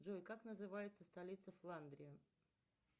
джой как называется столица фландрии